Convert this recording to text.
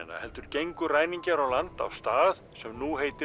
heldur gengu ræningjar á land á stað sem nú heitir